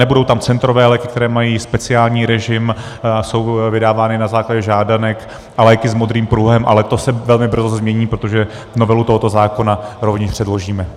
Nebudou tam centrové léky, které mají speciální režim, jsou vydávány na základě žádanek, a léky s modrým pruhem, ale to se velmi brzy změní, protože novelu tohoto zákona rovněž předložíme.